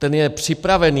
Ten je připravený.